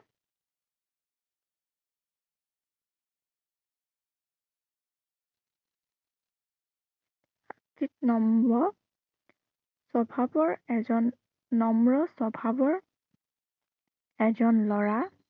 নম্ৰ স্বভাৱৰ এজন, নম্ৰ স্বভাৱৰ এজন লৰা